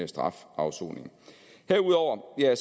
strafafsoning herudover er